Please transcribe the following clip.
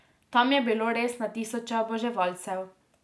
Tam je bilo res na tisoče oboževalcev.